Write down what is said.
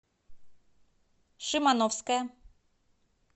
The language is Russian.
шимановская